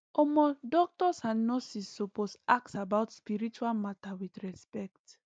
omo doctors and nurses suppose ask about spiritual matter with respect